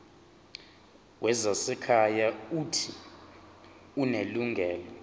wezasekhaya uuthi unelungelo